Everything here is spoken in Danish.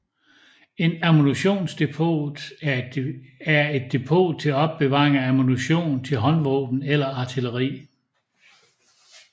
Et ammunitionsdepot er et depot til opbevaring af ammunition til håndvåben eller artilleri